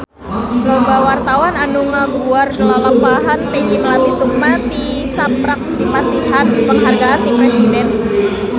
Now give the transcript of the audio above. Loba wartawan anu ngaguar lalampahan Peggy Melati Sukma tisaprak dipasihan panghargaan ti Presiden